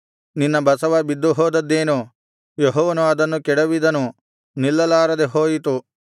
ನಿನ್ನ ಬಸವ ಬಿದ್ದು ಹೋದದ್ದೇನು ಯೆಹೋವನು ಅದನ್ನು ಕೆಡವಿದನು ನಿಲ್ಲಲಾರದೆ ಹೋಯಿತು